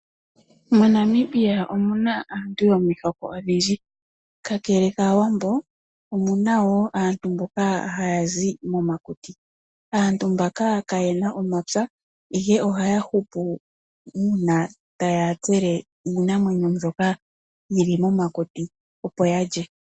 MoNamibia omuna aantu yomihoko odhindji. Kakele kaawambo, omuna wo aantu mboka haya zi momakuti. Aantu mbaka kayena omapya, ihe ohaya hupu uuna taya tsele iinamwenyo mbyoka yi li momakuti, opo yalye.